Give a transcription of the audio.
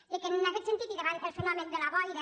i en aquest sentit i davant el fe·nomen de la boira